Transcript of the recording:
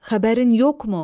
Xəbərin yoxmu?